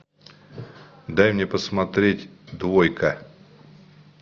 дай мне посмотреть двойка